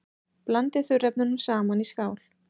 Blandið þurrefnunum saman í skál.